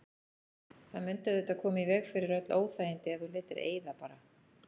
Það mundi auðvitað koma í veg fyrir öll óþægindi ef þú létir eyða bara.